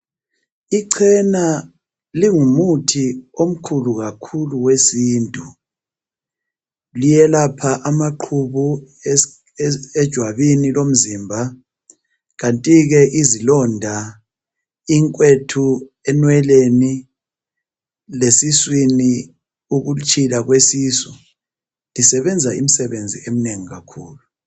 Ichena lingumuthi omkhulu kakhulu wesintu owelapha amaqhubu ejwabini lomzimba kanti ke izilonda, inkwethu, enweleni lesuswini ukutshila kwesisu isebenza imsebenzi omnengi kakhulu.